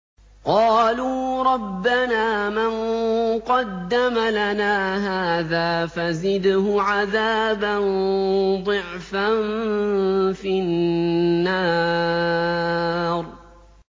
قَالُوا رَبَّنَا مَن قَدَّمَ لَنَا هَٰذَا فَزِدْهُ عَذَابًا ضِعْفًا فِي النَّارِ